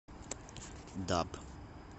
даб